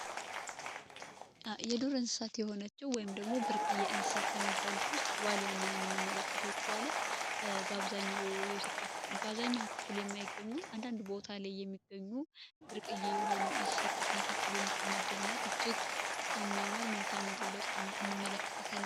የዱር እንስሳት የሆነችው ወይም ደግሞ የእንስሳት ከሚባሉ ዋልያ የምንመለከተ በአብዛኛው የኢትዮ ክፍል የማይገኙ አንዳንድ ቦታ ላይ የሚገኙ ብርቅዬ የሆኑ መካከል የምድር የሚያምር መልካ እንመለከታለን